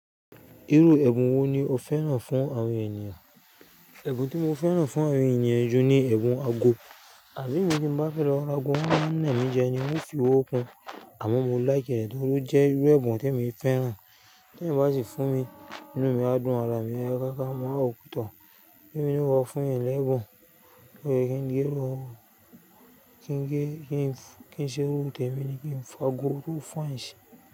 Irú ẹ̀bùn wo ni o fẹ́ràn fún àwọn ènìyàn? Ẹ̀bùn tí mo fẹ́ràn fún àwọn ènìyàn jù ni ẹ̀bùn ago, àbí èmi tí mo bá fẹ́ lọ ra ago wọ́n máa yan mí jẹ ní wọ́n ó fi owó kun, àmọ́ mo likẹ́ ee tori ó jẹ́ irú ẹ̀bùn tí èmi fẹ́ràn, tí ẹ̀eyan bá sì fún mi inú mi á dùn, ara mi á ya gá gá mọ́ mà wo pe tọ́, bí em naa wọ fún eeyan ni ẹ̀bùn, lórí kí n gé irú, kí n gé, kí n ṣe irú, tẹ̀mi ni kí n fa ago tó fine si.